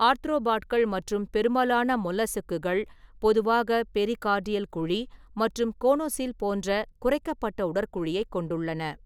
ஆர்த்ரோபாட்கள் மற்றும் பெரும்பாலான மொல்லஸ்க்குகள் பொதுவாக பெரிகார்டியல் குழி மற்றும் கோனோஸீல் போன்ற குறைக்கப்பட்ட உடற்குழியைக் கொண்டுள்ளன.